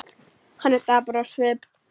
Hann er dapur á svip.